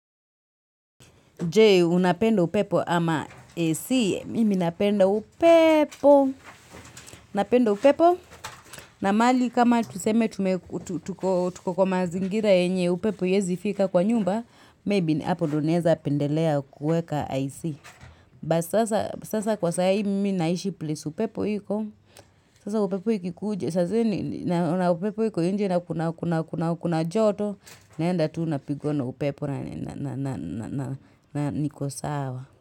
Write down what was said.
Je, unapenda upepo ama AC, mimi napenda upepo, napenda upepo, na mahali kama tuseme tume tuko kwa mazingira yenye upepo haiwezi fika kwa nyumba, maybe hapo ndio naeza pendelea kueka AC, but sasa kwa sayi mimi naishi place upepo iko, sasa upepo hiko, Sazini, nauna upepo hiko inje na kuna kuna kuna joto, naenda tuu napigwa na upepo na na na na niko sawa.